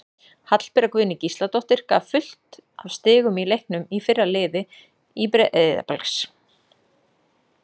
Hallbera Guðný Gísladóttir gaf fullt af stigum í leiknum í fyrra í liði Breiðabliks.